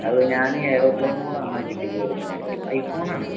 അത് ഞാൻ aeroplane mode on ആക്കി ഇട്ടിക്കേർന്ന് ഞാൻ ഐഫോൺ ആണ്